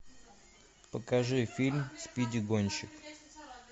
покажи фильм спиди гонщик